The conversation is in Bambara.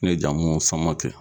Ne jamu Samake.